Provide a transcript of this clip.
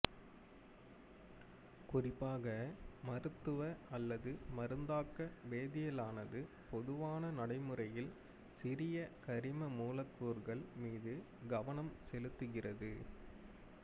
குறிப்பாக மருத்துவ அல்லது மருந்தாக்க வேதியியலானது பொதுவான நடைமுறையில் சிறிய கரிம மூலக்கூறுகள் மீது கவனம் செலுத்துகிறது